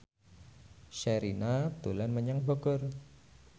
Sherina dolan menyang Bogor